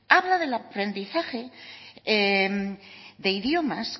habla del aprendizaje de idiomas